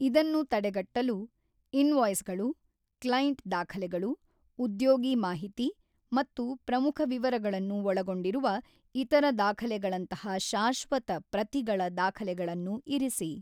ಇದನ್ನು ತಡೆಗಟ್ಟಲು, ಇನ್‌ವಾಯ್ಸ್‌ಗಳು, ಕ್ಲೈಂಟ್ ದಾಖಲೆಗಳು, ಉದ್ಯೋಗಿ ಮಾಹಿತಿ ಮತ್ತು ಪ್ರಮುಖ ವಿವರಗಳನ್ನು ಒಳಗೊಂಡಿರುವ ಇತರ ದಾಖಲೆಗಳಂತಹ ಶಾಶ್ವತ ಪ್ರತಿಗಳ ದಾಖಲೆಗಳನ್ನು ಇರಿಸಿ.